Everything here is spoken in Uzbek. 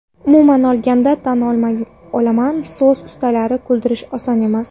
Umuman olganda, tan olaman, so‘z ustalarini kuldirish oson emas.